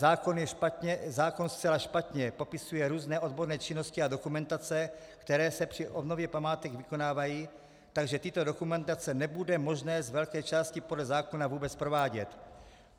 Zákon zcela špatně popisuje různé odborné činnosti a dokumentace, které se při obnově památek vykonávají, takže tyto dokumentace nebude možné z velké části podle zákona vůbec provádět.